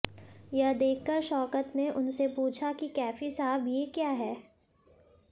यह देखकर शौकत ने उनसे पूछा कि कैफी साहब ये क्या है